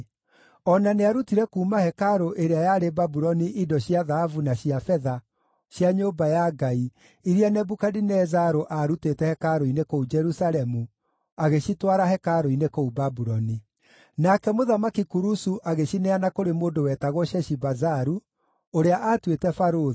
O na nĩarutire kuuma hekarũ ĩrĩa yarĩ Babuloni indo cia thahabu na cia betha cia nyũmba ya Ngai, iria Nebukadinezaru aarutĩte hekarũ-inĩ kũu Jerusalemu, agĩcitwara hekarũ-inĩ kũu Babuloni. “Nake Mũthamaki Kurusu agĩcineana kũrĩ mũndũ wetagwo Sheshibazaru, ũrĩa aatuĩte barũthi,